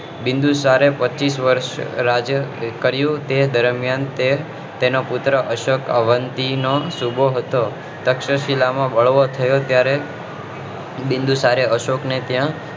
બીન્દુસારે પચીસ વર્ષ રાજ્ય કર્યું તે દરમિયાન તે તેનો પુત્ર અશોક અવંતી નો સુબોહ હતો તક્ષશિલા માં બળવો થયો ત્યારે બીન્દુસારે ત્યારે અશોક ને ત્યાં